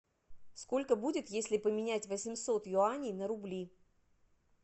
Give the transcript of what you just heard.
сколько будет если поменять восемьсот юаней на рубли